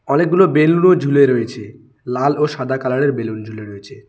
অনেকগুলো বেলুন ও ঝুলে রয়েছে লাল ও সাদা কালার এর বেলুন ঝুলে রয়েছে।